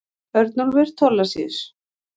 Örnólfur Thorlacius.